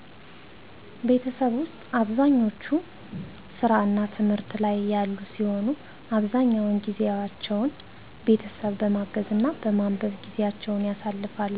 ቤተሠብ ውስጥ አብዛኛች ሥራ እና ትምህት ላይ ያሉ ሲሆን አብዛኛውን ጊዜቸውን ቤተሠብ በማገዝ እና በማንበብ ጊዜቸውን ያሳልፍሉ